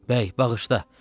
Bəy, bağışla.